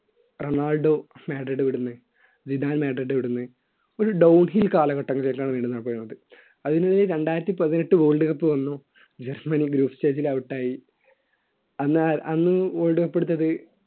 Ronaldo Madrid വിടുന്നു വിധാൻ Madrid വിടുന്നു full ഡോഖി കാലഘട്ടങ്ങള്ക്ക് ശേഷമാണ് അതിനിടയിൽരണ്ടായിരത്തി പതിനെട്ട് world cup വന്നു ജർമ്മനി ഗ്രൂപ്പ് stage ൽ out യി അന്നാര് അന്ന് world cup എടുത്തത്